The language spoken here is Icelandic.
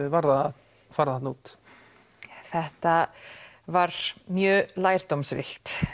var það að fara þarna út þetta var mjög lærdómsríkt